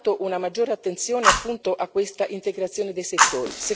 Intanto, una maggiore attenzione, appunto, a questa integrazione dei settori